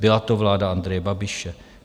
Byla to vláda Andreje Babiše.